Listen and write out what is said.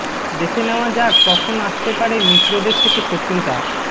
দেখে নেওয়া যাক কখন আসতে পারে মিত্রদের থেকে শত্রুতা